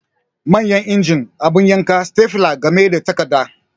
Manyan injin, abu yanka, stepler game da takarda